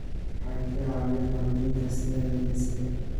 Waxay ka caawiyaan xoojinta sinnaanta jinsiga.